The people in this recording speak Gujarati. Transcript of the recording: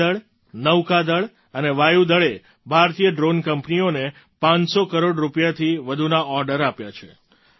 ભૂમિ દળ નૌકા દળ અને વાયુ દળે ભારતીય ડ્રૉન કંપનીઓને 500 કરોડ રૂપિયાથી વધુના ઑર્ડર આપ્યા છે